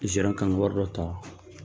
Gerant kan ka wari dɔ ta